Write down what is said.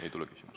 Ei tule küsimust.